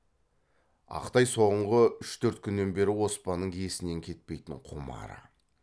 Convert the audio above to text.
ақ тай соңғы үш төрт күннен бері оспанның есінен кетпейтін құмары